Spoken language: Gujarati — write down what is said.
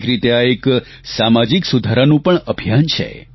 એક રીતે આ એક સામાજિક સુધારાનું પણ અભિયાન છે